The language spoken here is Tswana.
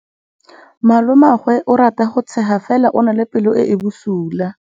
Malomagwe o rata go tshega fela o na le pelo e e bosula.